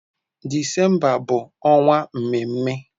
Disemba bụ ọnwa mmemme.